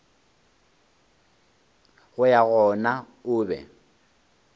go ya gona o be